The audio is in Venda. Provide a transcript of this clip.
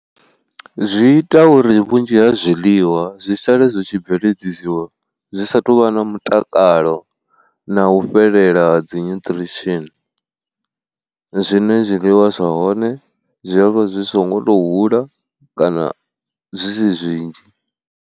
Zwi ita uri vhunzhi ha zwiḽiwa zwi sale zwi tshi bveledzisiwa zwi sa tou vha na mutakalo na u fhelela dzi nyutriesheni, zwine zwiliwa zwa hone zwi a vha zwi songo to hula kana zwisi zwinzhi.